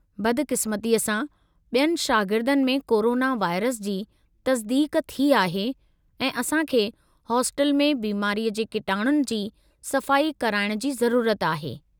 बदक़िस्मतीअ सां, बि॒यनि शागिर्दनि में कोरोना वायरस जी तस्दीक़ थी आहे, ऐं असां खे हास्टल में बिमारीअ जे किटाणुनि जी सफ़ाई कराइण जी ज़रूरत आहे।